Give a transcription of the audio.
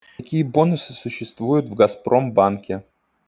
какие бонусы существуют в газпромбанке